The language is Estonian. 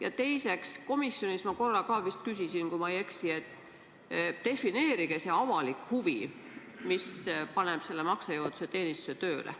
Ja teiseks – komisjonis ma korra ka vist küsisin seda, kui ma ei eksi –, defineerige see avalik huvi, mis paneb selle maksejõuetuse teenistuse tööle.